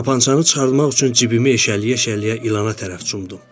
Tapancanı çıxartmaq üçün cibimi eşələyə-eşələyə ilana tərəf cumdum.